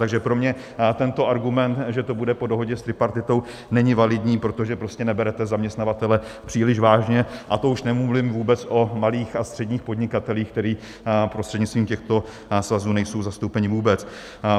Takže pro mě tento argument, že to bude po dohodě s tripartitou, není validní, protože prostě neberete zaměstnavatele příliš vážně, a to už nemluvím vůbec o malých a středních podnikatelích, kteří prostřednictvím těchto svazů nejsou zastoupeni vůbec.